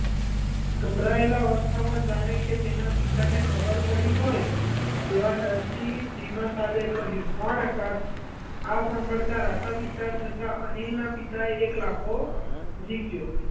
ગભરાયેલાં અવસ્થામાં જાણે કે તેનાં પિતા ને ખબર પડી હોય તેવાં ડરથી ધીમાં સાદે કહ્યું, કોણ આકાશ? આ સાંભળતા રાતાપીતા થતાં અનિલના પિતા એ એક લાફો જિકયો.